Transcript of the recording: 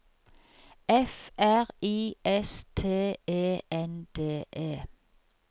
F R I S T E N D E